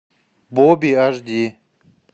бобби аш ди